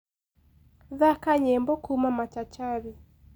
thaka nyĩmbo kũũma machachari